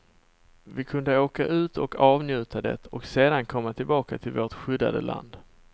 Vi kunde åka ut och avnjuta det och sedan komma tillbaka till vårt skyddade land.